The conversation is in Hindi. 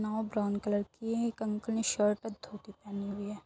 नाव ब्राउन कलर की है। एक अंकल ने शर्ट ओर धोती पहनी हुई है।